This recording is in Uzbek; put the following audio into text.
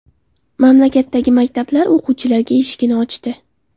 Mamlakatdagi maktablar o‘quvchilarga eshigini ochdi.